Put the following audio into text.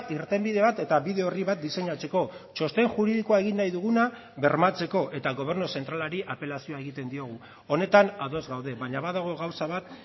irtenbide bat eta bide orri bat diseinatzeko txosten juridikoa egin nahi duguna bermatzeko eta gobernu zentralari apelazioa egiten diogu honetan ados gaude baina badago gauza bat